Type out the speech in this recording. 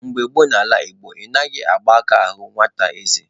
Mgbe gboo n'ala Igbo, anaghị agba aka ahụ nwata eze.